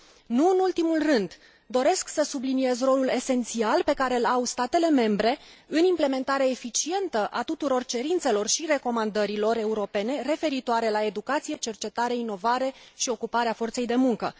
Nu în ultimul rând, doresc să subliniez rolul esențial pe care îl au statele membre în implementarea eficientă a tuturor cerințelor și recomandărilor europene, referitoare la educație, cercetare, inovare și ocuparea forței de muncă.